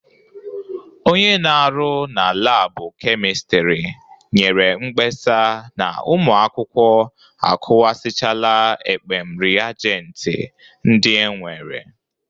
Onye na-arụ na labụ kemistri nyere mkpesa na ụmụ akwụkwọ akụwasịchala ekpem rịajenti ndị e nwere.